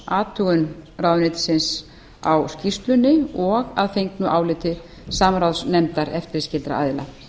athugun ráðuneytisins á skýrslunni og að fengnu áliti samráðsnefndar eftirlitsskyldra aðila